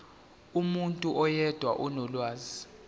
umuntu oyedwa onolwazi